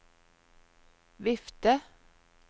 vifte